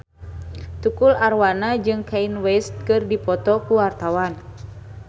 Tukul Arwana jeung Kanye West keur dipoto ku wartawan